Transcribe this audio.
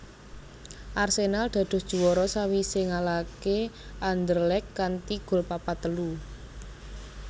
Arsenal dados juwara sawisé ngalahaké Anderlecht kanthi gol papat telu